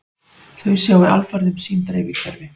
Þau sjái alfarið um sín dreifikerfi